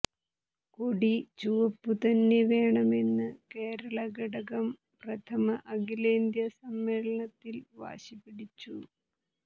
കൊടി ചുവപ്പുതന്നെ വേണമെന്ന് കേരളഘടകം പ്രഥമ അഖിലേന്ത്യാ സമ്മേളനത്തിൽ വാശിപിടിച്ചു